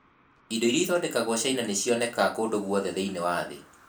Indo iria ithondekagwo China nĩ cionekaga kũndũ guothe thĩinĩ wa thĩ.